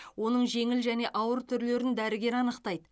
оның жеңіл және ауыр түрлерін дәрігер анықтайды